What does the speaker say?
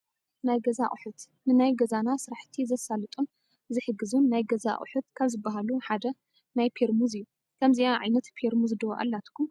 ናይ ገዛ ኣቑሑት፡- ንናይ ገዛና ስራሕቲ ዘሳልጡን ዝሕግዙን ናይ ገዛ ኣቑሑት ካብ ዝባሃሉ ሓደ ናይ ፔርሙዝ እዩ፡፡ ከምዚኣ ዓይነት ፔርሙዝ ዶ ኣላትኩም?